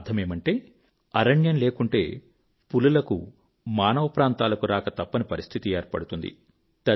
అర్థమేమంటే అరణ్యం లేకుంటే పులులకు మానవ ప్రాంతాలకు రాక తప్పని పరిస్థితి ఏర్పడుతుంది